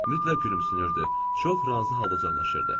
Mütləq gülümsünürdü, çox razı halda cəlaşırdi.